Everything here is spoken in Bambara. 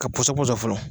Ka pɔsɔn dɔ sɔrɔ fɔlɔ